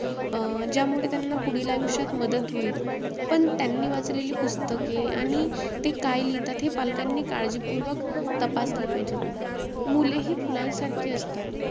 अं ज्यामुळे त्यांना पुढील आयुष्यात मदत होईल. पण त्यांनी वाचलेली पुस्तके आणि ते काय लिहितात हे पालकांनी काळजीपूर्वक तपासले पाहिजेत. मुले हि फुलांसारखी असतात.